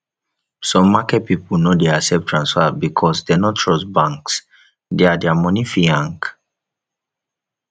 some market pipo no de accept transfer because dem no trust banks their their money fit hang